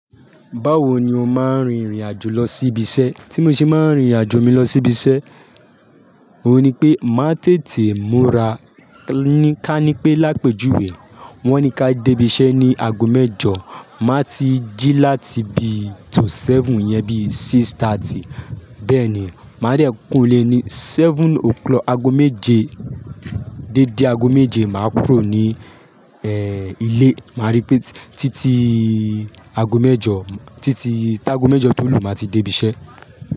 Báwo ni o máa ń rin ìrìn-àjò lọ sí ibi iṣẹ́? Tí mo ṣe máa ń rin ìrìn-àjò mi lọ sí ibi iṣẹ́, òun ni pé màá tètè múra. Kí ni ká ní pé lápèjúwe. Wọ́n ní ká dé ibi iṣẹ́ ní ago mẹ́jọ. Màá ti jí láti bi to seven iyẹn bí six thirty. Bẹ́ẹ̀ ni, máa rí kuro ni ile ni seven o clock, ago méje dédé ago méje, màá kúrò ní, ẹ, ilé. Màá rí pé títí ago mẹ́jọ, títí táago mẹ́jọ tó lù, màá ti dé ibi iṣẹ́